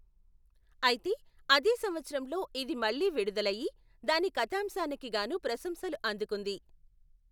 అయితే, అదే సంవత్సరంలో ఇది మళ్ళీ విడుదల అయి, దాని కథాంశానికి గాను ప్రశంసలు అందుకుంది.